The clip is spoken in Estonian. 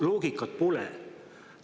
Loogikat pole.